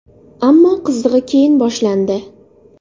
Ammo qizig‘i keyin boshlandi.